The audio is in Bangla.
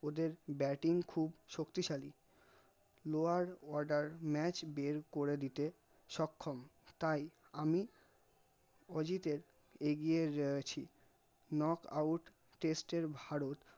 ওদের bating খুব শক্তিশালী lower order match করে দিতে সক্ষম তাই আমি অজিতের এগিয়ে এ ছি knockout test এ ভারত